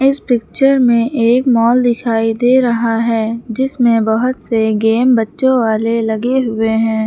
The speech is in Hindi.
इस पिक्चर में एक मॉल दिखाई दे रहा है जिसमें बहोत से गेम बच्चो वाले लगे हुए है।